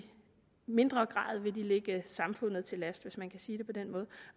mindre grad vil de ligge samfundet til last hvis man kan sige det på den måde